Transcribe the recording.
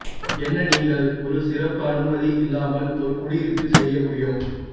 என்ன நீங்கள் ஒரு சிறப்பு அனுமதி இல்லாமல் ஒரு குடியிருப்பில் செய்ய முடியும்